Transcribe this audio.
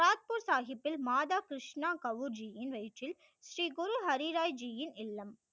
புல் சாகிபில் மாதா கிருஷ்ணா கவு ஜி யின் வயிற்றில் ஸ்ரீ குரு ஹரி ராய் ஜி யின் இல்லம்